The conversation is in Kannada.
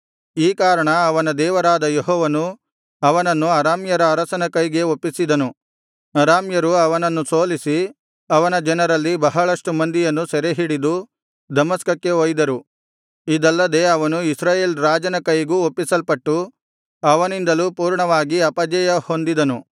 ಈ ಕಾರಣ ಅವನ ದೇವರಾದ ಯೆಹೋವನು ಅವನನ್ನು ಅರಾಮ್ಯರ ಅರಸನ ಕೈಗೆ ಒಪ್ಪಿಸಿದನು ಅರಾಮ್ಯರು ಅವನನ್ನು ಸೋಲಿಸಿ ಅವನ ಜನರಲ್ಲಿ ಬಹಳಷ್ಟುಮಂದಿಯನ್ನು ಸೆರೆಹಿಡಿದು ದಮಸ್ಕಕ್ಕೆ ಒಯ್ದರು ಇದಲ್ಲದೆ ಅವನು ಇಸ್ರಾಯೇಲ್ ರಾಜನ ಕೈಗೂ ಒಪ್ಪಿಸಲ್ಪಟ್ಟು ಅವನಿಂದಲೂ ಪೂರ್ಣವಾಗಿ ಅಪಜಯ ಹೊಂದಿದನು